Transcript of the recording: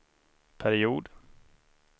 period